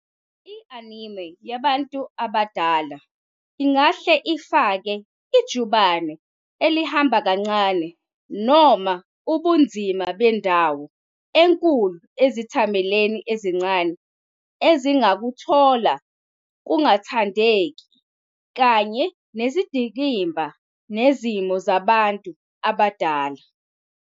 I-anime yabantu abadala ingahle ifake ijubane elihamba kancane noma ubunzima bendawo enkulu izethameli ezincane ezingakuthola kungathandeki, kanye nezindikimba nezimo zabantu abadala.